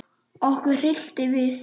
Okkur hryllti við.